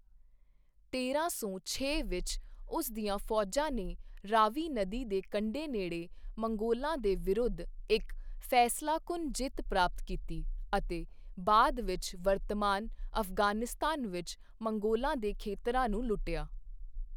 ਤੇਰਾਂ ਸੌ ਛੇ ਵਿੱਚ, ਉਸ ਦੀਆਂ ਫੌਜਾਂ ਨੇ ਰਾਵੀ ਨਦੀ ਦੇ ਕੰਢੇ ਨੇੜੇ ਮੰਗੋਲਾਂ ਦੇ ਵਿਰੁੱਧ ਇੱਕ ਫੈਸਲਾਕੁੰਨ ਜਿੱਤ ਪ੍ਰਾਪਤ ਕੀਤੀ, ਅਤੇ ਬਾਅਦ ਵਿੱਚ ਵਰਤਮਾਨ ਅਫ਼ਗ਼ਾਨਿਸਤਾਨ ਵਿੱਚ ਮੰਗੋਲਾਂ ਦੇ ਖੇਤਰਾਂ ਨੂੰ ਲੁੱਟਿਆ।